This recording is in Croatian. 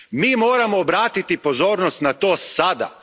Mi moramo obratiti pozornost na to sada.